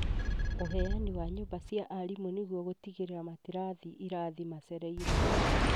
ũheani wa nyũmba cia arimũ nĩguo gũtigĩrĩra matirathĩ irathi macereirwo